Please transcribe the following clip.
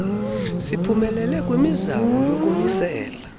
siphumelele kwimizamo yokumisela